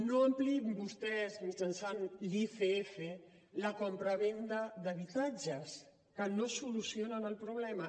no ampliïn vostès mitjançant l’icf la compravenda d’habitatges que no solucionen el problema